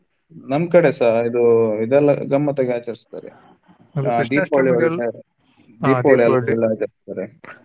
ನಮ್ ಕಡೆ ಸಾ ಅದು ಇದೆಲ್ಲ ಗಮ್ಮತ್ ಆಗಿ ಆಚರಿಸ್ತಾರೆ .